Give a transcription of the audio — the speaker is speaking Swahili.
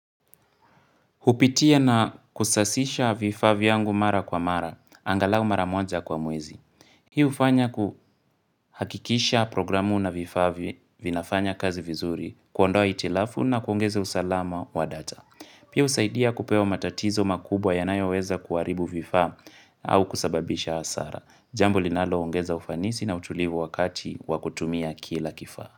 Hupitia na kusasisha vifaa vyangu mara kwa mara, angalau mara moja kwa mwezi. Hii hufanya kuhakikisha programu na vifaa vinafanya kazi vizuri, kuondoa hitilafu na kuongeze usalama wa data. Pia husaidia kupewa matatizo makubwa yanayo weza kuharibu vifaa au kusababisha hasara. Jambo linaloongeza ufanisi na utulivu wakati wa kutumia kila kifaa.